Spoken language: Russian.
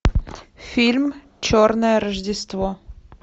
фильм черное рождество